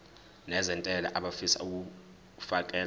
nezentela abafisa uukfakela